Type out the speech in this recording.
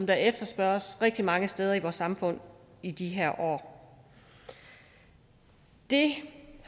der efterspørges rigtig mange steder i vores samfund i de her år det